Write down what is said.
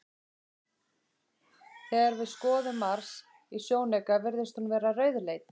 Þegar við skoðum Mars í sjónauka virðist hún vera rauðleit.